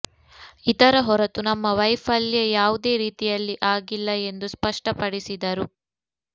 ಇದರ ಹೊರತು ನಮ್ಮ ವೈಫಲ್ಯ ಯಾವುದೇ ರೀತಿಯಲ್ಲಿ ಆಗಿಲ್ಲ ಎಂದು ಸ್ಪಷ್ಟಪಡಿಸಿದರು